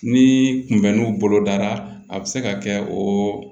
Ni kunbɛnniw bolo dara a bɛ se ka kɛ o